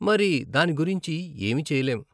మరి, దాని గురించి ఏమీ చేయలేము .